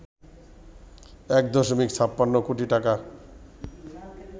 ১ দশমিক ৫৬ কোটি টাকা